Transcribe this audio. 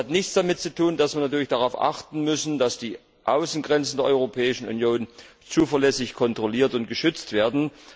Das hat nichts damit zu tun, dass wir natürlich darauf achten müssen, dass die Außengrenzen der Europäischen Union zuverlässig kontrolliert und geschützt werden.